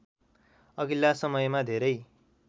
अघिल्ला समयमा धेरै